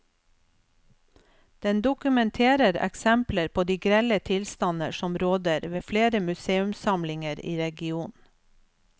Den dokumenterer eksempler på de grelle tilstander som råder ved flere museumssamlinger i regionen.